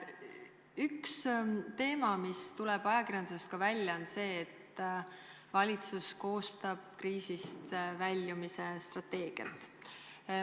Üks teema, mida on ka ajakirjanduses puudutatud, on see, et valitsus koostab kriisist väljumise strateegiat.